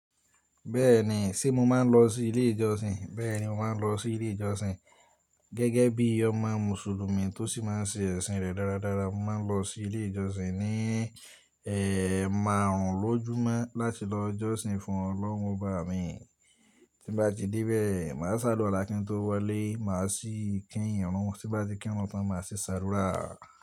Bẹ́ẹ̀ni, ṣé mo máa ń lọ sí ilé ìjọsìn? Bẹ́ẹ̀ni, mo máa ń lọ sí ilé ìjọsìn. Gẹ́gẹ́ bí i ọmọ Mùsùlùmí tó sì máa ń ṣe ẹ̀sìn rẹ̀ dáradára, mo máa ń lọ sí ilé ìjọsìn ní, ẹmarun lójúmọ́ láti lọ jọ́sìn fún Ọlọ́run ọba mi. Tí nbá ti dé bẹ́ẹ̀, màá ṣàdúrà kìntó walé, màá sì kí irun, tí nbá ti kí irun tán, màá sì ṣàdúrà.